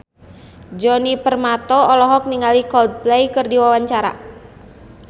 Djoni Permato olohok ningali Coldplay keur diwawancara